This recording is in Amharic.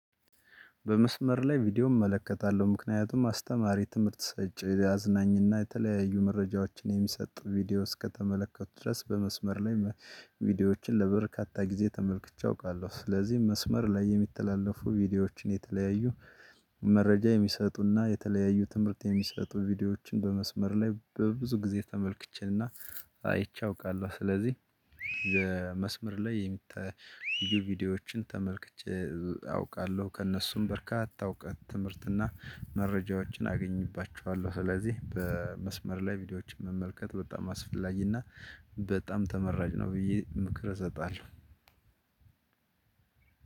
በመስመር ላይ ቪዲዮ እመለከታለሁ ምክንያቱም አስተማሪ ትምህርት ሰጪ አዝናኝና የተለያዩ መረጃዎችን የሚሰጥ ቪዲዮ እስከተመለከትኩ ድረስ በመስመር ላይ ቪዲዮዎችን ለበርካታ ጊዜ ተመልክቼ አውቃለሁ። ስለዚህ መስመር ላይ የሚተላለፉ ቪዲዮዎችን የተለያዩ መረጃ የሚሰጡና የተለያዩ ትምህርት የሚሰጡ ቪዲዮዎችን በመስመር ላይ በብዙ ጊዜ ተመልክቼና አይቼ አውቃለሁ። ስለዚህ የመስመር ላይ የሚታዩ ቪዲዮዎችን ተመልክቼ አውቃለሁ ከእነሱም በርካታ እውቀት ትምህርትና መረጃዎችን አገኝባቸዋለሁ። ስለዚህ በመስመር ላይ ቪዲዮዎችን መመልከት በጣም አስፈላጊና በጣም ተመራጭ ነው ብዬ ምክር እሰጣለሁ።